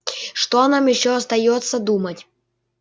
что нам ещё остаётся думать